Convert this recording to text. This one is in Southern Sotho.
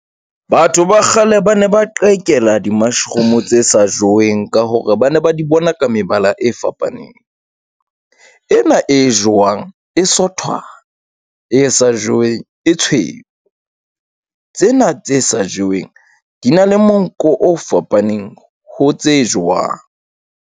Batho ba kgale ba ne ba qhekella di-mushroom tse sa joweng ka hore ba ne ba di bona ka mebala e fapaneng. Ena e jowang e sotwana e sa joweng e tshweu. Tsena tse sa jeweng di na le monko o fapaneng ho tse jowang.